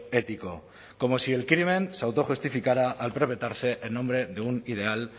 ético como si el crimen se autojustificara al perpetuarse en nombre de un ideal